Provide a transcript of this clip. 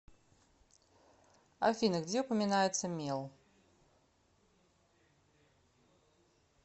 афина где упоминается мел